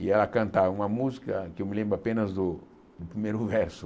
E ela cantava uma música que eu me lembro apenas do primeiro verso.